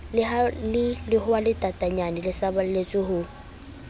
le lehwatatanyana le saballetse ho